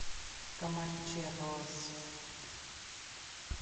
команчерос